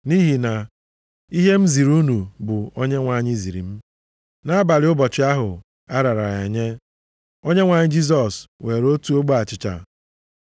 Nʼihi na ihe m ziri unu bụ ihe Onyenwe anyị ziri m. Nʼabalị ụbọchị ahụ a rara ya nye, Onyenwe anyị Jisọs weere otu ogbe achịcha.